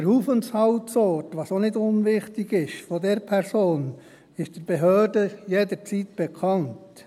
Der Aufenthaltsort, was auch nicht unwichtig ist, dieser Person ist den Behörden jederzeit bekannt.